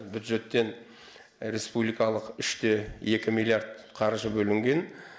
бюджеттен республикалық үш те екі миллиард қаржы бөлінген